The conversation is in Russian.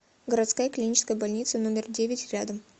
городская клиническая больница номер девять рядом